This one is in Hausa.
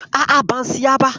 A'a, ban siya ba.